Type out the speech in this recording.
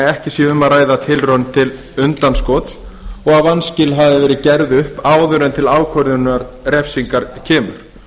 ekki sé um að ræða tilraun til undanskots og vanskil hafi verið gerð upp áður en til ákvörðunar refsingar kemur